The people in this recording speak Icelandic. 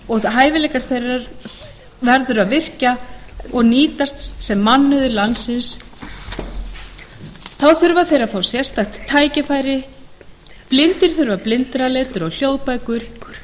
og hæfileika þeirra verður að virkja og nýta sem mannauð landsins til þess þurfa þeir sérstaka tækni blindir þurfa blindraletur og hljóðbækur